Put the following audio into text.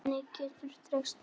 Hvernig geturðu treyst mér?